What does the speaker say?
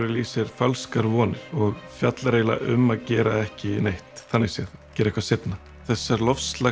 í sér falskar vonir og fjallar eiginlega um að gera ekki neitt þannig séð gera eitthvað seinna þessar